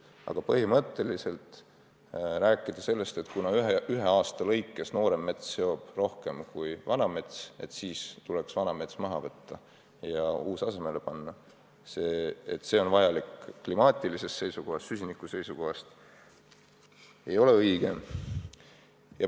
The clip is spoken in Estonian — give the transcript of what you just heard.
Aga rääkida sellest, et kuna ühe aasta lõikes noorem mets seob rohkem kui vana mets, siis tuleks vana mets maha võtta ja uus kasvama panna, et see on vajalik kliima seisukohast, süsiniku seisukohast, ei ole põhimõtteliselt õige.